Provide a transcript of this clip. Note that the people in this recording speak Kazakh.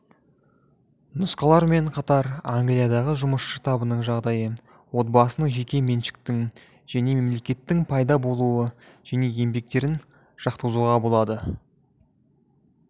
нұсқалармен қатар англиядағы жұмысшы табының жағдайы отбасының жеке меншіктің және мемлекеттің пайда болуы және еңбектерін жатқызуға болады